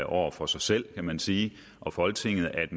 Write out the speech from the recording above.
over for sig selv kan man sige og folketinget at